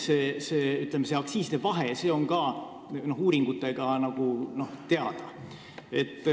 See kriitiline aktsiiside vahe on tänu uuringutele ka teada.